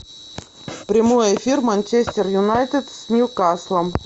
прямой эфир манчестер юнайтед с ньюкаслом